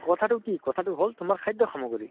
কথা তো কি ? কথা তো হʼল তোমাৰ খাদ্য় সামগ্ৰী ।